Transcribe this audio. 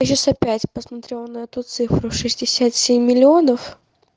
сейчас опять посмотрела на эту цифру шестьдесят семь миллионов